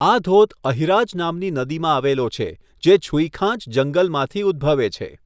આ ધોધ અહિરાજ નામની નદીમાં આવેલો છે, જે છુઈખાંચ જંગલમાંથી ઉદ્ભવે છે.